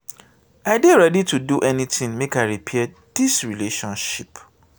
i dey ready to do anytin make i repair dis relationship.